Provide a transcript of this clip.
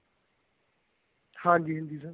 ਹਾਂਜੀ ਹਾਂਜੀ sir